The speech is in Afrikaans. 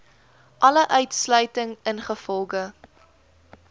alle uitsluiting ingevolge